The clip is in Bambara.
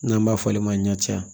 N'an b'a fɔ ale ma ɲancɛ